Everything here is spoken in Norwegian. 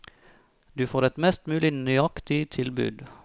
Du får et mest mulig nøyaktig tilbud.